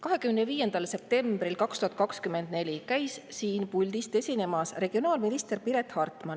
25. septembril 2024 käis siin puldis esinemas regionaalminister Piret Hartman.